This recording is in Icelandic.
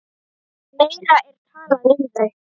Meira er talað um þau.